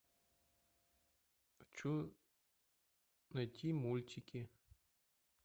хочу найти мультики